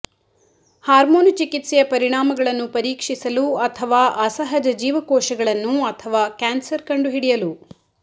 hormone ಚಿಕಿತ್ಸೆಯ ಪರಿಣಾಮಗಳನ್ನು ಪರೀಕ್ಷಿಸಲು ಅಥವಾ ಅಸಹಜ ಜೀವಕೋಶಗಳನ್ನು ಅಥವಾ ಕ್ಯಾನ್ಸರ್ ಕಂಡುಹಿಡಿಯಲು